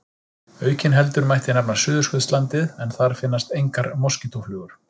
Aukinheldur mætti nefna Suðurskautslandið en þar finnast engar moskítóflugur.